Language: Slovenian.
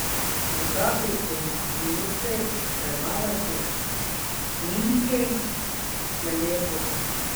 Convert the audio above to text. Po taki končnici premagati Himki je lepo.